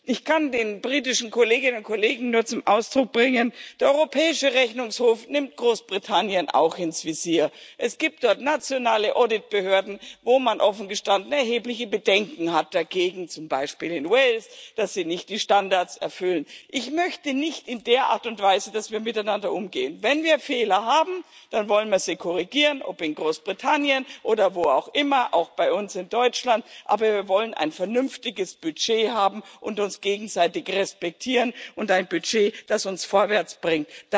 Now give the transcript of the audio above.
Ich kann den britischen Kolleginnen und Kollegen nur sagen Der Europäische Rechnungshof nimmt Großbritannien auch ins Visier, es gibt dort nationale Auditbehörden, wo man offen gestanden erhebliche Bedenken hat, zum Beispiel in Wales, dass Sie nicht die Standards erfüllen. Ich möchte nicht, dass wir in der Art und Weise miteinander umgehen. Wenn wir Fehler haben, dann wollen wir sie korrigieren, ob in Großbritannien oder wo auch immer, auch bei uns in Deutschland, aber wir wollen ein vernünftiges Budget haben und uns gegenseitig respektieren und ein Budget haben, das uns vorwärtsbringt.